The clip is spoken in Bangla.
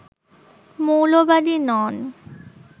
মৌলবাদী নন